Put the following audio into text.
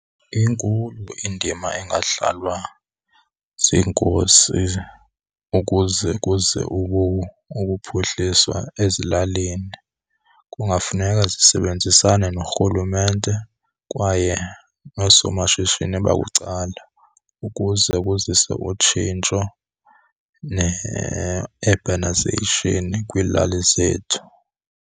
Inkulu indima engadlalwa ziinkosi ukuze kuze ukuphuhliswa ezilalini. Kungafuneka zisebenzisane norhulumente kwaye noosomashishini babucala ukuze kuziswe utshintsho ne-urbanisation kwiilali zethu.